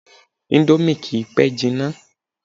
Indomie kìí pẹ́ jina